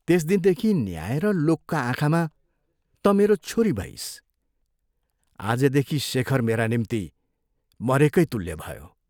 त्यस दिनदेखि न्याय र लोकका आँखामा तँ मेरो छोरी भइस्, आजदेखि शेखर मेरा निम्ति मरेकै तुल्य भयो।